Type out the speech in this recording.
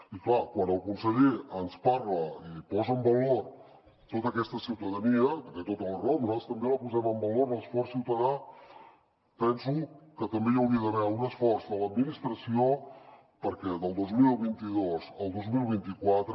i clar quan el conseller ens parla i posa en valor tota aquesta ciutadania que té tota la raó nosaltres també el posem en valor l’esforç ciutadà penso que també hi hauria d’haver un esforç de l’administració perquè del dos mil vint dos al dos mil vint quatre